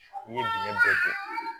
N ye dingɛ bɛɛ don